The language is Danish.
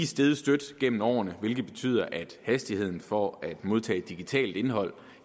steget støt gennem årene hvilket betyder at hastigheden for at modtage digitalt indhold